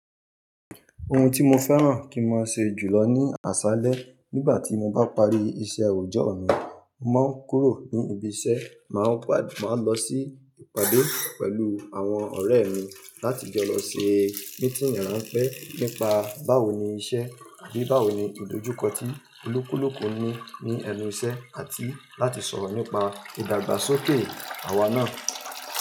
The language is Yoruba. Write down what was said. Ohun tí mo fẹ́ràn kí n má ṣe jùlọ ní àṣálẹ́ nígbà tí mo bá parí iṣẹ́ oojọ mi, mo máa ń kúrò ní ibi iṣẹ́, máa ń lọ sí ìpàdé pẹ̀lú àwọn ọ̀rẹ́ mi láti jọ lọ se mítiinì ránpẹ́ nípa báwo ni iṣẹ́ àbí báwo ni ìdojúkọ tí olúkúlùkù ní ní ẹnu iṣẹ́ àti láti sọ̀rọ̀ nípa ìdàgbàsókè àwa náà.